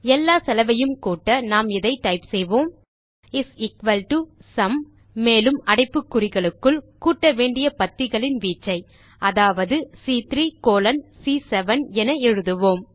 எல்லா செலவையும் கூட்ட நாம் இதை டைப் செய்வோம் இஸ் எக்குவல் டோ சும் மேலும் அடைப்புக்குறிகளுக்குள் கூட்ட வேண்டிய பத்திகளின் வீச்சை அதாவது சி3 கோலோன் சி7 என எழுதுவோம்